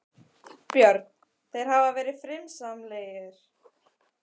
Björn: Þeir hafa verið friðsamlegir?